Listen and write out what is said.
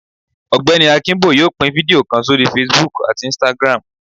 Ọgbẹni Akinbo yóò pín fidio kán sorí Facebook atí Instagram